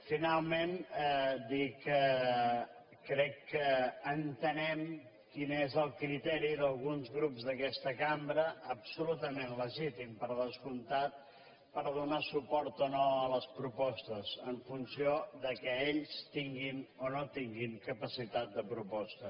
finalment dir que crec que entenem quin és el criteri d’alguns grups d’aquesta cambra absolutament legítim per descomptat per donar suport o no a les propostes en funció que ells tinguin o no tinguin capacitat de proposta